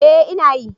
Ee ina yi.